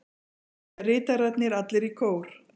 spyrja ritararnir allir í kór.